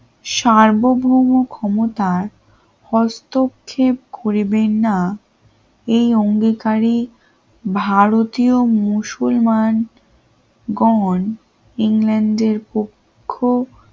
সার্বভৌম ক্ষমতার হস্তক্ষেপ করবেন না এই অঙ্গীকারী ভারতীয় মুসলমান গন ইংল্যান্ডের পক্ষ